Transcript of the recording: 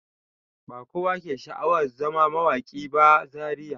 Ba kowa ke sha'awan zama mawaƙi ba Zariya.